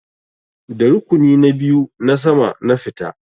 Da rukuni na biyu na sama na fita.